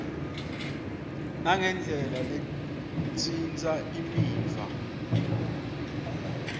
nangendlela letsintsa imiva